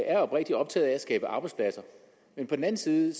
er oprigtig optaget af at skabe arbejdspladser men på den anden side